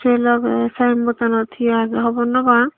se loge saen bottanot hi age hobor nw pang.